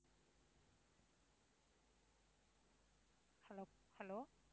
Hello